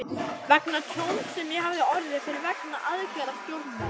vegna tjóns sem ég hafði orðið fyrir vegna aðgerða stjórnvalda.